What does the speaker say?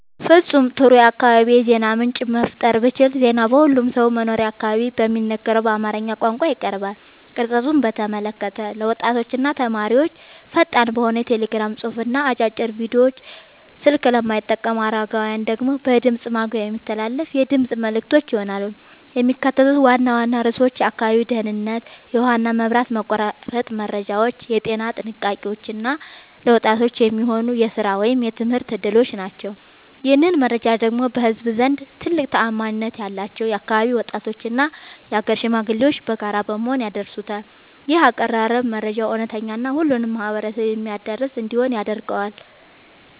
ፍጹም ጥሩ የአካባቢ የዜና ምንጭ መፍጠር ብችል ዜናው በሁሉም ሰው መኖሪያ አካባቢ በሚነገረው በአማርኛ ቋንቋ ይቀርባል። ቅርጸቱን በተመለከተ ለወጣቶችና ተማሪዎች ፈጣን በሆነ የቴሌግራም ጽሑፍና አጫጭር ቪዲዮዎች፣ ስልክ ለማይጠቀሙ አረጋውያን ደግሞ በድምፅ ማጉያ የሚተላለፉ የድምፅ መልዕክቶች ይሆናሉ። የሚካተቱት ዋና ዋና ርዕሶች የአካባቢው ደህንነት፣ የውሃና መብራት መቆራረጥ መረጃዎች፣ የጤና ጥንቃቄዎች እና ለወጣቶች የሚሆኑ የሥራ ወይም የትምህርት ዕድሎች ናቸው። ይህንን መረጃ ደግሞ በህዝቡ ዘንድ ትልቅ ተአማኒነት ያላቸው የአካባቢው ወጣቶችና የአገር ሽማግሌዎች በጋራ በመሆን ያደርሱታል። ይህ አቀራረብ መረጃው እውነተኛና ሁሉንም ማህበረሰብ የሚያዳርስ እንዲሆን ያደርገዋል።